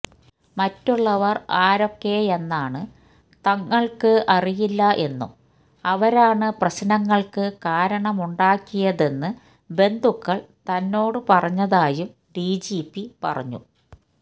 മറ്റുള്ളവര് ആരൊക്കെയെന്നാണ് തങ്ങള്ക്ക് അറിയില്ല എന്നും അവരാണ് പ്രശ്നങ്ങള്ക്ക് കാരണമുണ്ടാക്കിയതെന്ന് ബന്ധുക്കള് തന്നോടു പറഞ്ഞതായും ഡിജിപി പറഞ്ഞു